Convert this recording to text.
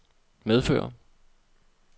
medfører